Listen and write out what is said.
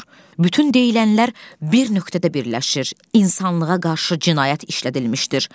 Bütün deyilənlər bir nöqtədə birləşir: insanlığa qarşı cinayət işlədilmişdir.